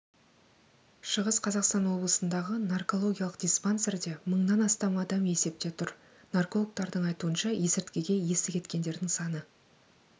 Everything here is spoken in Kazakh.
шығыс қазақстан облысындағы наркологиялық диспансерде мыңнан астам адам есепте тұр наркологтардың айтуынша есірткіге есі кеткендердің саны